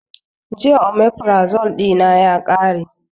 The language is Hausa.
Jiya omefrazo ɗina ya ƙare